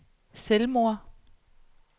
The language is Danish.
selvmord